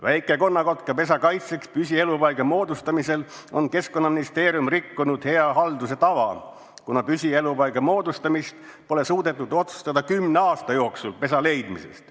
Väike-konnakotka pesa kaitseks püsielupaiga moodustamisel on Keskkonnaministeerium rikkunud hea halduse tava, kuna püsielupaiga moodustamist pole suudetud otsustada kümne aasta jooksul pesa leidmisest.